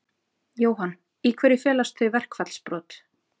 Jóhann: Í hverju felast þau verkfallsbrot?